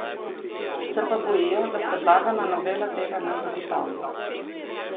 Se pa bojijo, da predlagana novela tega ne zagotavlja.